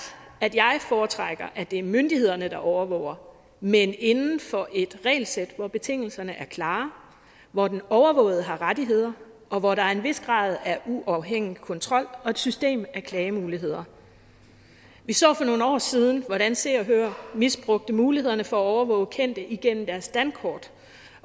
at jeg foretrækker at det er myndighederne der overvåger men inden for et regelsæt hvor betingelserne er klare hvor den overvågede har rettigheder og hvor der er en vis grad af uafhængig kontrol og et system af klagemuligheder vi så for nogle år siden hvordan se og hør misbrugte mulighederne for at overvåge kendte igennem deres dankort